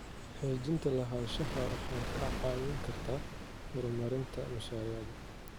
Xaqiijinta lahaanshaha waxay kaa caawin kartaa horumarinta mashaariicda.